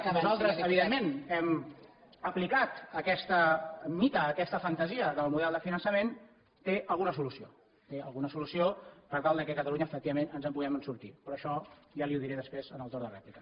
que nosaltres evidentment hem aplicat a aquest mite a aquesta fantasia del model de finançament té alguna solució té alguna solució per tal que catalunya efectivament ens en puguem sortir però això ja li ho diré després en el torn de rèplica